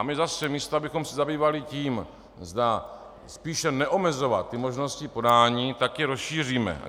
A my zase, místo abychom se zabývali tím, zda spíše neomezovat ty možnosti podání, tak je rozšíříme.